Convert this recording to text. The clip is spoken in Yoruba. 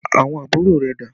Àwọn àbúrò rẹ̀ dà?